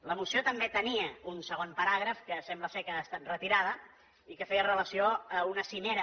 la moció també tenia un segon paràgraf que sembla que ha estat retirat i que feia relació a una cimera